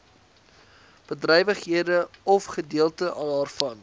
bedrywighede ofgedeelte daarvan